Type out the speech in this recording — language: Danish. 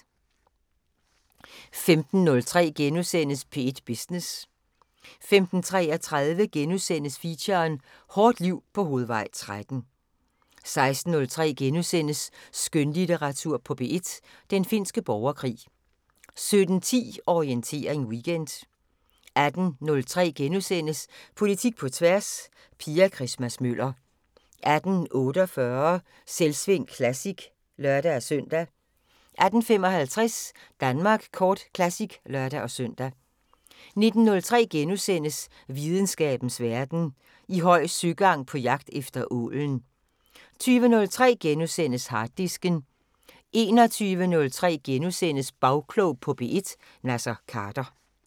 15:03: P1 Business * 15:33: Feature: Hårdt liv på Hovedvej 13 * 16:03: Skønlitteratur på P1: Den finske borgerkrig * 17:10: Orientering Weekend 18:03: Politik på tværs: Pia Christmas-Møller * 18:48: Selvsving Classic (lør-søn) 18:55: Danmark Kort Classic (lør-søn) 19:03: Videnskabens Verden: I høj søgang på jagt efter ålen * 20:03: Harddisken * 21:03: Bagklog på P1: Naser Khader *